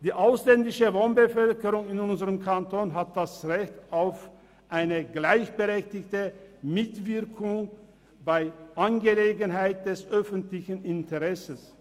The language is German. Die ausländische Wohnbevölkerung in unserem Kanton hat das Recht auf eine gleichberechtigte Mitwirkung bei Angelegenheiten von öffentlichem Interesse.